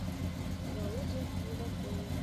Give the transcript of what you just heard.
володе булдакове